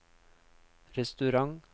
restaurant